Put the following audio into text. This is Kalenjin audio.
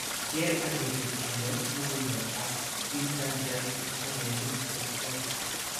Keer ak irib ele logundo ak inchanchan ingogenik che logu.